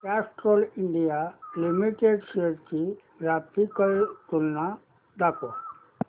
Castrol India limited shares ची graphical तुलना दाखव